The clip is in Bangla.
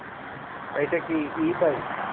এইটা কি e-bike?